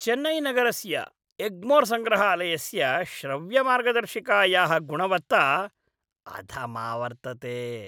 चेन्नैनगरस्य एग्मोर् सङ्ग्रहालयस्य श्रव्यमार्गदर्शिकायाः गुणवत्ता अधमा वर्तते।